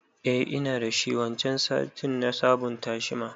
Eh ina dashi, waccan satin na sabon tashi ma